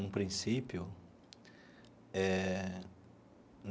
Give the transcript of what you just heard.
um princípio eh.